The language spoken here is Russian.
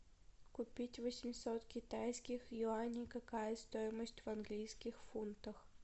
купить восемьсот китайских юаней какая стоимость в английских фунтах